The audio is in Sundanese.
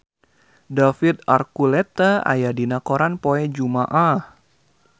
David Archuletta aya dina koran poe Jumaah